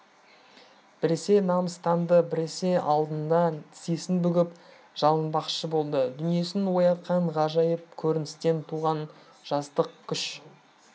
біресе намыстанды біресе алдында тізесін бүгіп жалынбақшы болды дүниесін оятқан ғажайып көріністен туған жастық күш